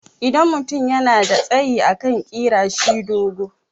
idan mutum yana da tsayi akan kira shi dogo